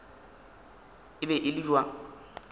e be e le bja